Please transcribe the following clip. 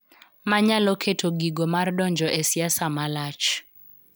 Ma nyalo keto giko mar donjo e siasa ma lach.